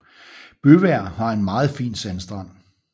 Bøvær har en meget fin sandstrand